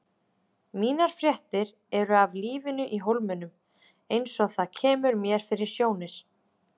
Mínar fréttir eru af lífinu í Hólminum eins og það kemur mér fyrir sjónir.